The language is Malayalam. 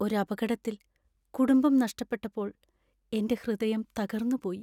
ഒരു അപകടത്തിൽ കുടുംബം നഷ്ടപ്പെട്ടപ്പോൾ എന്‍റെ ഹൃദയം തകർന്നുപോയി .